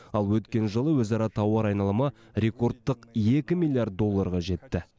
ал өткен жылы өзара тауар айналымы рекордтық екі миллиард долларға жетті